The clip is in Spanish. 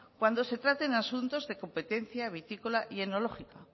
cuando se traten asuntos de competencia vitícola y enológica